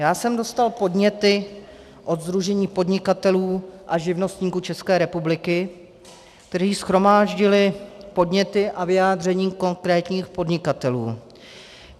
Já jsem dostal podněty od Sdružení podnikatelů a živnostníků České republiky, kteří shromáždili podněty a vyjádření konkrétních podnikatelů.